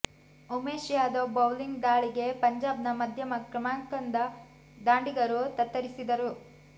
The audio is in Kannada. ಉಮೇಶ್ ಯಾದವ್ ಬೌಲಿಂಗ್ ದಾಳಿಗೆ ಪಂಜಾಬ್ನ ಮಧ್ಯಮ ಕ್ರಮಾಂಕದ ದಾಂಡಿಗರು ತತ್ತರಿಸಿದ್ದರು